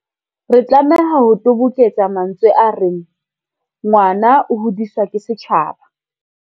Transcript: Re tlameha ho toboketsa mantsweng a reng, ngwana o hodiswa ke setjhaba.